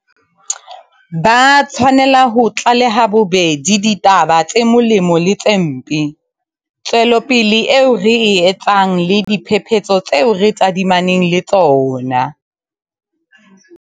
Ba tshwanela ho tlaleha bobedi ditaba tse molemo le tse mpe, tswelopele eo re e etsang le diphephetso tseo re tadimaneng le tsona.